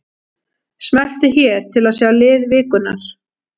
Smelltu hér til að sjá lið vikunnar